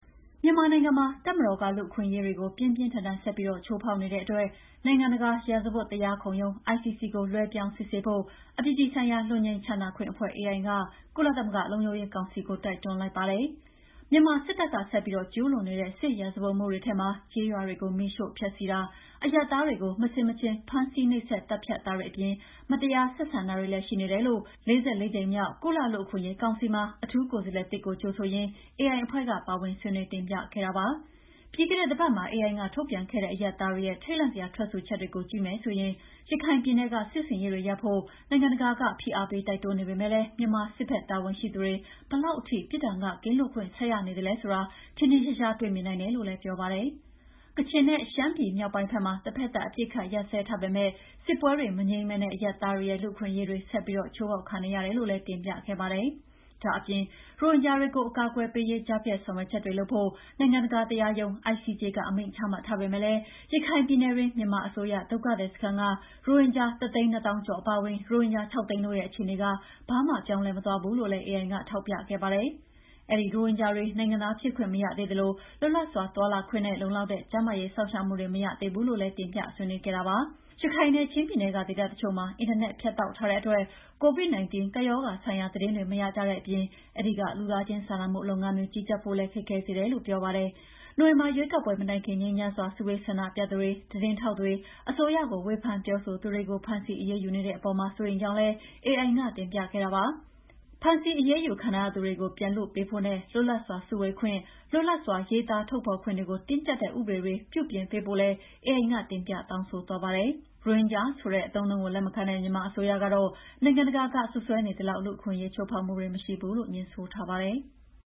မြန်မာနိုင်ငံမှာ တပ်မတော်က လူ့အခွင့်အရေးကို ပြင်းပြင်းထန်ထန် ဆက်ပြီး ချိုးဖောက်နေတဲ့အတွက် နိုင်ငံတကာ ရာဇဝတ်တရားခုံရုံး ICC မှာ လွှဲပြောင်းစစ်ဆေးဖို့ အပြည်ပြည်ဆိုင်ရာ လွတ်ငြိမ်းချမ်းသာခွင့်အဖွဲ့ AI က ကုလသမဂ္ဂ လုံခြုံရေးကောင်စီကို တိုက်တွန်းလိုက်ပါတယ်။ မြန်မာစစ်တပ်ကဆက်ပြီး ကျူးလွန်နေတဲ့ စစ်ရာဇဝတ်မှုတွေထဲမှာ ကျေးရွာတွေကို မီးရှို့ဖျက်ဆီးတာ၊ အရပ်သားတွေကို မဆင်မခြင်ဖမ်းဆီး၊ နှိပ်စက်၊ သတ်ဖြတ်တာတွေအပြင် မတရားဆက်ဆံတာတွေလည်း ရှိနေတယ်လို့ ၄၄ ကြိမ်မြောက် ကုလလူ့အခွင့်အရေးကောင်စီမှာ အထူးကိုယ်စားလှယ်သစ်ကို ကြိုဆိုရင်း AI အဖွဲ့က ပါဝင်ဆွေးနွေးတင်ပြခဲ့တာပါ။ ပြီးခဲ့တဲ့တပတ်မှာ AI က ထုတ်ပြန်ခဲ့တဲ့ အရပ်သားတွေရဲ့ ထိတ်လန့်စရာ ထွက်ဆိုချက်တွေကို ကြည့်မယ်ဆိုရင် ရခိုင်ပြည်နယ်က စစ်ဆင်ရေးတွေရပ်ဖို့ နိုင်ငံတကာက ဖိအားပေးတိုက်တွန်းနေပေမဲ့လည်း မြန်မာစစ်ဘက် တာဝန်ရှိသူတွေ ဘယ်လောက်ထိ ပြစ်ဒဏ်ကကင်းလွတ်ခွင့် ဆက်ရနေသလဲဆိုတာ ထင်ထင်ရှားရှား တွေ့မြင်နိုင်တယ်လို့လည်း ပြောပါတယ်။ ကချင်နဲ့ ရှမ်းပြည်မြောက်ပိုင်းဘက်မှာ တဘက်သတ် အပစ်အခတ်ရပ်စဲထားပေမဲ့ စစ်ပွဲတွေမငြိမ်းဘဲ အရပ်သားတွေရဲ့ လူ့အခွင့်အရေးတွေ ဆက်ပြီး ချိုးဖောက်ခံနေရတယ်လို့လည်း တင်ပြခဲ့ပါတယ်။ ဒါ့အပြင် ရိုဟင်ဂျာတွေကို အကာအကွယ်ပေးရေး ကြားဖြတ်ဆောင်ရွက်ချက်တွေလုပ်ဖို့ နိုင်ငံတကာတရားရုံး ICJ က အမိန့်ချမှတ်ထားပေမဲ့လည်း ရခိုင်ပြည်နယ်တွင်း မြန်မာအစိုးရ ဒုက္ခသည်စခန်းက ရိုဟင်ဂျာ ၁၂၀,၀၀၀ ကျော်အပါအဝင် ရိုဟင်ဂျာ ၆၀၀,၀၀၀ တို့ရဲ့ အခြေအနေက ဘာမှပြောင်းလဲမသွားဘူးလို့လည်း AI ကထောက်ပြခဲ့ပါတယ်။ အဲဒီရိုဟင်ဂျာတွေ နိုင်ငံသားဖြစ်ခွင့်မရသေးသလို လွတ်လပ်စွာ သွားလာခွင့်နဲ့ လုံလောက်တဲ့ ကျန်းမာရေးစောင့်ရှောက်မှုတွေ မရသေးဘူးလို့လည်း တင်ပြဆွေးနွေးခဲ့တာပါ။ ရခိုင်နဲ့ချင်းပြည်နယ်က ဒေသတချို့မှာ အင်တာနက်ဖြတ်တောက်ထားတဲ့အတွက် COVID-19 ကပ်ရောဂါဆိုင်ရာသတင်းတွေ မရကြတဲ့အပြင် အဲဒီကလူသားချင်းစာနာမှု လုပ်ငန်းတွေ ကြီးကြပ်ဖို့လည်း ခက်ခဲစေတယ်လို့ပြောပါတယ်။ နိုဝင်ဘာရွေးကောက်ပွဲမတိုင်ခင် ငြိမ်းချမ်းစွာ စုဝေးဆန္ဒပြသူတွေ၊ သတင်းထောက်တွေ၊ အစိုးရကို ဝေဖန်ပြောဆိုသူတွေကို ဖမ်းဆီးအရေးယူနေတဲ့အပေါ်မှာ စိုးရိမ်ကြောင်းလည်း AI ကတင်ပြခဲ့တာပါ။ ဖမ်းဆီး အရေးယူခံထားရသူတွေကို ပြန်လွှတ်ပေးဖို့နဲ့ လွတ်လပ်စွာ စုဝေးခွင့်၊ လွတ်လွပ်စွာ ရေးသားထုတ်ဖော်ခွင့်တွေကို တင်းကြပ်ထားတဲ့ ဥပဒေတွေ ပြုပြင်ပေးဖို့လည်း AI က တင်ပြတောင်းဆိုသွားပါတယ်။ ရိုဟင်ဂျာဆိုတဲ့အသုံးအနှုန်းကို လက်မခံတဲ့ မြန်မာအစိုးရကတော့ နိုင်ငံတကာက စွပ်စွဲနေသလောက် လူ့အခွင့်အရေးချိုးဖောက်တာမရှိဘူးလို့ ငြင်းဆိုထားပါတယ်။